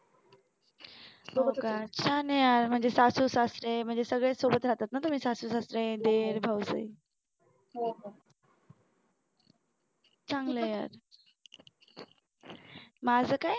हो का म्हणजे छान आहे यार म्हणजे सासू सासरे म्हणजे सगळेच सोबत राहतात ना तुम्ही सासू सासरे दीर भाऊ चांगलं आहे यार माझं काय?